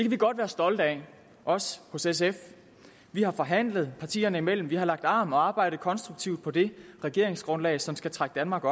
vi godt være stolte af os hos sf vi har forhandlet partierne imellem vi har lagt arm og arbejdet konstruktivt på det regeringsgrundlag som skal trække danmark